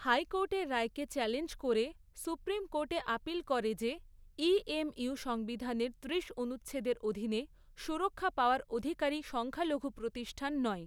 হাইকোর্টের রায়কে চ্যালেঞ্জ করে সুপ্রিম কোর্টে আপিল করে যে এএমইউ সংবিধানের ত্রিশ এক অনুচ্ছেদের অধীনে সুরক্ষা পাওয়ার অধিকারী সংখ্যালঘু প্রতিষ্ঠান নয়।